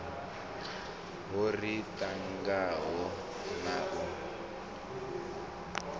ho ri tangaho na u